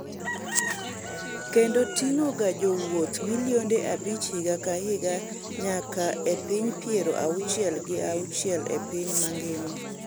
kendo ting'o ga jowuoth milionde abich higa ka higa nyaka e pinj piero auchiel gi auchiel e piny mangima